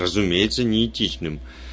разумеется неэтичным